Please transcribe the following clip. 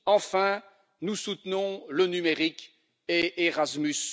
Enfin, nous soutenons le numérique et Erasmus.